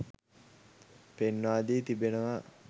පෙන්වා දී තිබෙනවා.